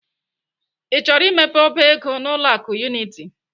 I chọrọ imepe ọba ego n'ụlọ akụ Unity?